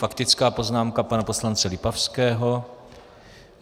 Faktická poznámka pana poslance Lipavského.